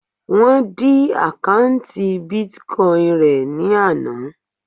Wọ́n dí àkọ́ùntì Bitcoin rẹ̀ ní àná.